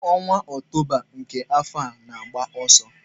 Ọnwa Ọktoba nke afọ a na-agba ọsọ.